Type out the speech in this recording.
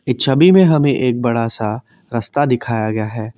ये छवि में हमें एक बड़ा सा रस्ता दिखाया गया है।